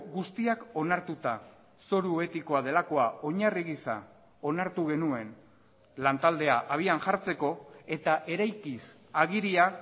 guztiak onartuta zoru etikoa delakoa oinarri gisa onartu genuen lantaldea habian jartzeko eta eraikiz agiria